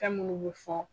Fɛn minnu bɛ fɔ